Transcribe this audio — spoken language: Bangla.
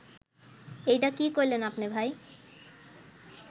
এইডা কি কইলেন আপনে ভাই